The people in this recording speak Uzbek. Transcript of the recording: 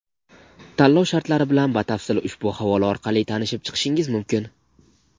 Tanlov shartlari bilan batafsil ushbu havola orqali tanishib chiqishingiz mumkin.